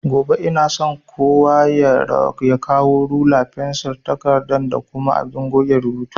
Gobe inason kowa ya kawo rula, fensir, takarda da kuma abin goge rubutu